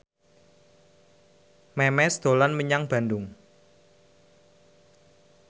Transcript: Memes dolan menyang Bandung